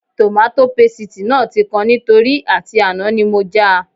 Tòmátò pasìtì náà tí kan nítorí àti àná ni mo já a